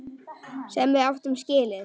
Sem við áttum skilið.